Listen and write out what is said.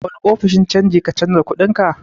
A wane ofishin canji ka canja kuɗinka?